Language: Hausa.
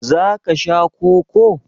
za ka Sha Koko?